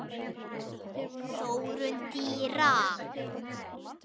Þróun dýra